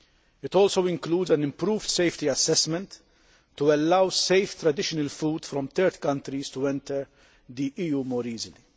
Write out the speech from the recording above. It also includes an improved safety assessment to allow safe traditional food from third countries to enter the EU more easily.